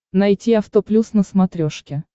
найти авто плюс на смотрешке